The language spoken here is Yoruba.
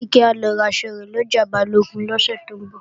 Kíkẹ́ o lọ raṣọ rẹ̀ lọjà Balógun lọ́jọ́ Jímọ̀